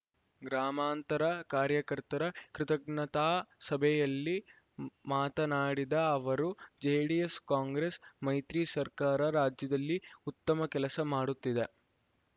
ಗ್ರಾಮಾಂತರ ಕಾರ್ಯಕರ್ತರ ಕೃತಜ್ಞತಾ ಸಭೆಯಲ್ಲಿ ಮಾತನಾಡಿದ ಅವರು ಜೆಡಿಎಸ್‌ಕಾಂಗ್ರೆಸ್‌ ಮೈತ್ರಿ ಸರಕಾರ ರಾಜ್ಯದಲ್ಲಿ ಉತ್ತಮ ಕೆಲಸ ಮಾಡುತ್ತಿದೆ